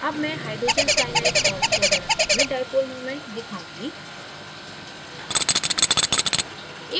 अब मैं hydrogen cyanide और water अणुओं में dipole moment दिखाऊँगी